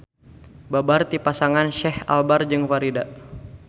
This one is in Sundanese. Babar ti pasangan Syech Albar jeung Farida.